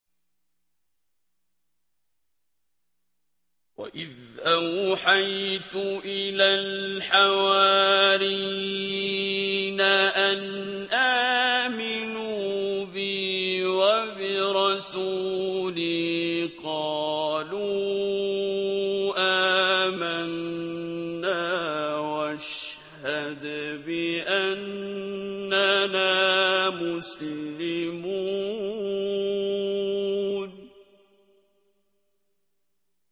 وَإِذْ أَوْحَيْتُ إِلَى الْحَوَارِيِّينَ أَنْ آمِنُوا بِي وَبِرَسُولِي قَالُوا آمَنَّا وَاشْهَدْ بِأَنَّنَا مُسْلِمُونَ